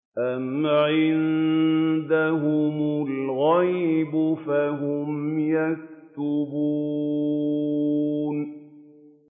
أَمْ عِندَهُمُ الْغَيْبُ فَهُمْ يَكْتُبُونَ